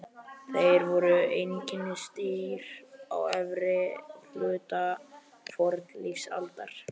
Þeir voru einkennisdýr á efri hluta fornlífsaldar.